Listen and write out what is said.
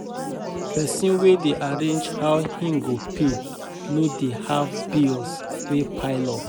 Pesin wey dey arrange how im go pay no dey have bills wey pile up